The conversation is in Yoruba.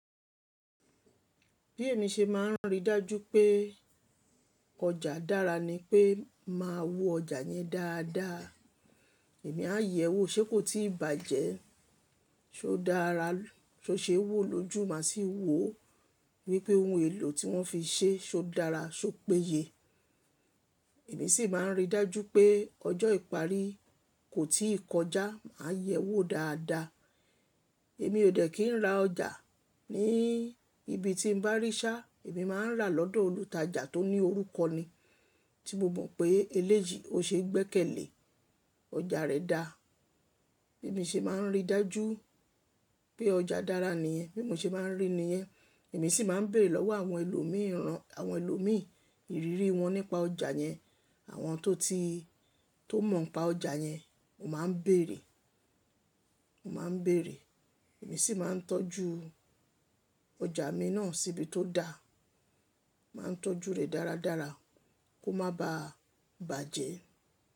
Bí èmi ṣe máà ń ríi dájú pé ọjà dára ni pé mà á wo ọjà yẹn dáadáa. Èmi a yẹ̀ ẹ́ wò ṣe kò tí ì bàjẹ́, ṣé ó dára, ṣé ó ṣe wò lójú, má sì wò. Wípé ohun èlò tí wọ́n fi ṣe, ṣé ó dára, ṣé ó péye. Èmi sì ma ń ríi dájú pé ọjọ́ ìparí kò tí ì kọjá, mà á yẹ̀ ẹ́ wò dáadáa. Èmi ò dẹ̀ kí ń ra ọjà ní ibi tí ń bá rí ṣá, èmi máà ń rà lọ́dọ̀ olùtajà tó ní orúkọ ni, tí mo mọ̀ pé eléyi ó ṣe gbẹ́kẹ̀lé, ọjà rẹ̀ dá. Bí mi ṣe máà ń ríi dájú pé ọjà dára nìyẹn, bí mo ṣe máà ń rí ni yẹn, èmi sì máà ń bèrè lọ́wọ́ àwọn ẹlòmíìran, àwọn ẹlòmíì, ìrírí wọn nípa ọjà yẹn. Àwọn tó ti, tó mọ̀ npa ọjà yẹn, mo máà ń bèrè, mo máà ń bèrè. Èmi sì máa ń tọ́jú ọjà mi náà síbí tó da, mà á tọ́jú rè dáradára kó má ba à bàjẹ́.